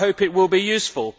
I hope it will be useful.